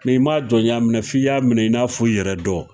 n'i m'a jɔnya minɛ f'i y'a minɛ i n'a fɔ i yɛrɛ dɔ